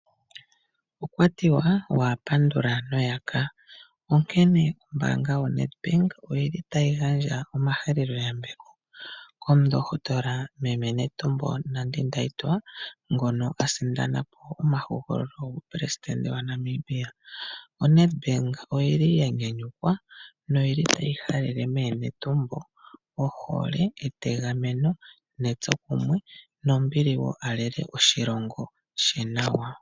Okwatiwa wahapandula noyaka, Onkene ombaanga yo Nedbank oyili tayi gandja omahaleloyambepo komundohotola meme Netumbo Nandi Ndeitwah ngono asindanapo omahogololo guupelesidende waNamibia . ONEDBANK oyili ya nyanyukwa noyili tayi halele meeNetumbo ohole, etegameno netsokumwe nombili woo alele oshilongo she nawa.